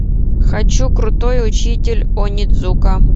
хочу крутой учитель онидзука